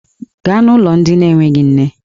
Gaa n'ụlọ ndị na-enweghị nne!